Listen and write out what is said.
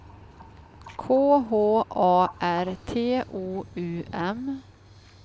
K H A R T O U M